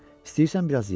İstəyirsən biraz ye?